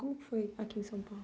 Como que foi aqui em São Paulo?